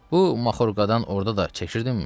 Bu maxorkadan orda da çəkirdinmi?